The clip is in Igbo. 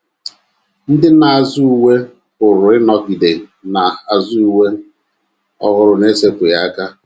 Ndị na - azụ uwe pụrụ ịnọgide na - azụ uwe ọhụrụ n’esepụghị aka.